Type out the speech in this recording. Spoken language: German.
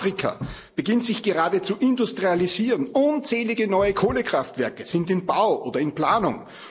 Afrika beginnt sich gerade zu industrialisieren, unzählige neue Kohlekraftwerke sind im Bau oder in Planung.